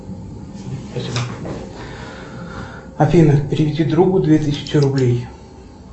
афина переведи другу две тысячи рублей